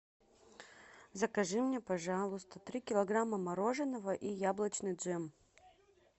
закажи мне пожалуйста три килограмма мороженого и яблочный джем